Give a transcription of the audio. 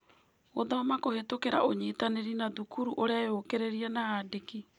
Gũthoma Kũhetũkira ũnyitanĩri na Thukuru Ireyũkĩrĩria na Aandĩki